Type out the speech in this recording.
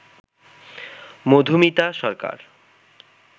Madhumita Sarkar